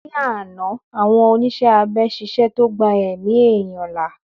Ní àná àwọn oníṣẹ́ abẹ ṣiṣẹ́ tó gbà èmi ẹ̀yán là